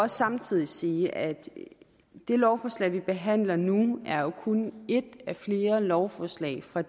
samtidig sige at det lovforslag vi behandler nu kun er et af flere lovforslag fra